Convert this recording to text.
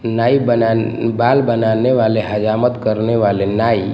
नाई बनाने बाल बनाने वाले हजामत करने वाले नाई--